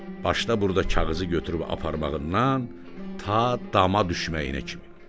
Başda burda kağızı götürüb aparmağından ta dama düşməyinə kimi.